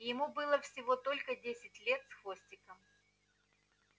ему было всего только десять лет с хвостиком